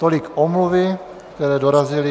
Tolik omluvy, které dorazily.